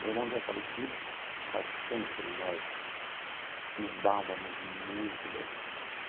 Meu irmão já é falecido, mas sempre nós nos dávamos muito bem.